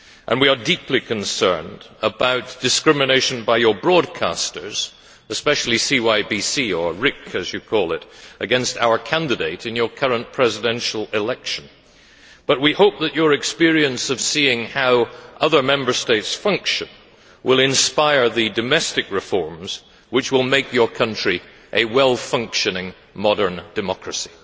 We are also deeply concerned about discrimination by your broadcasters, especially CYBC or RIK as you call it against our candidate in your current presidential election, but we hope that your experience of seeing how other Member States function will inspire the domestic reforms which will make your country a well functioning modern democracy.